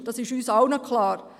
Dies ist uns allen klar.